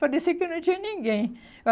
Parecia que não tinha ninguém.